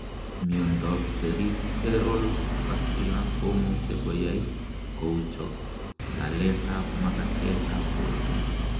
Miondab Peripheral vascular komuche koyai kouchok laletab makatetab borto.